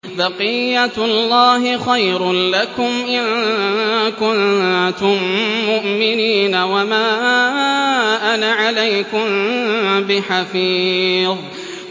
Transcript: بَقِيَّتُ اللَّهِ خَيْرٌ لَّكُمْ إِن كُنتُم مُّؤْمِنِينَ ۚ وَمَا أَنَا عَلَيْكُم بِحَفِيظٍ